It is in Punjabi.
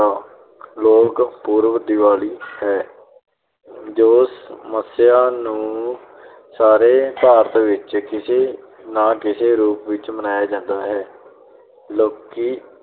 ਲੋਕ ਪੁਰਬ ਦੀਵਾਲੀ ਹੈ ਜੋ ਮੱਸਿਆ ਨੂੰ ਸਾਰੇ ਸ਼ਹਿਰ ਦੇ ਵਿੱਚ ਕਿਸੇ ਨਾ ਕਿਸੇ ਰੂਪ ਵਿੱਚ ਮਨਾਇਆ ਜਾਂਦਾ ਹੈ ਲੋਕੀ